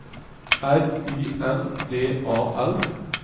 R I N D A L